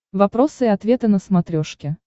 вопросы и ответы на смотрешке